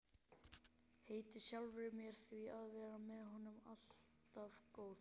Heiti sjálfri mér því að vera honum alltaf góð.